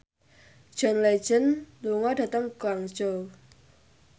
John Legend lunga dhateng Guangzhou